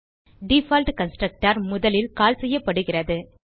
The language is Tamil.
டிஃபால்ட் கன்ஸ்ட்ரக்டர் முதலில் கால் செய்யப்படுகிறது